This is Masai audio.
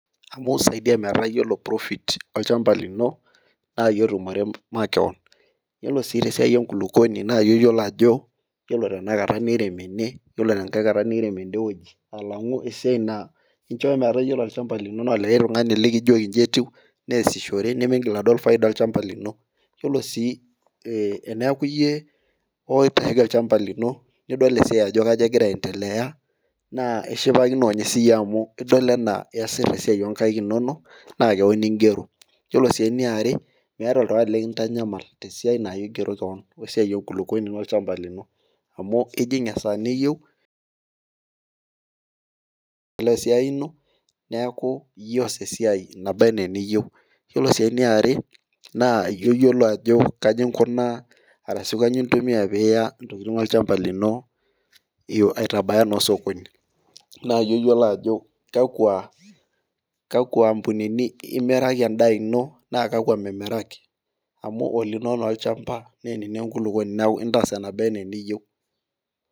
Amu isaidia metaa ore profit olchampa lino naa iyie otumi makewon. ore sii te siai enkulupuoni, naa iyie oyiolo ajo ore tenakata nemirem ene, ore tenkae kata nimirem enkae wueji, alafu esiai na incho metaa ore olchampa lino likae tungani likijoki iji etiu, neesishore Nimigil atum faida olchampa lino. ore sii teneku iyie oipiraki olchampa lino, nidol esiai ajo kegira aendelea, naa oshipakino ninye siiyie amu idol anaa iyasita esiai oo nkaik inonok. naa keon igero, iyiolo sii eniare, meeta oltungani likintanyama tesiai ino igero keon, esiai enkulupuoni olchampa lino. amu ijing esaa niyieu, esiai ino. neeku iyiee oos esiai naba anaa eniyie, iyie oyiolo ajo kaji inkunaa esiai aitabaya naa osokoni naa iyie oyiolo ajo, kakua ampunini imiraki edaa ino naa kakua nimiraki. amu olino taa olchampa naa olino enkulupuoni neeku intaas enaba anaa eneyieu.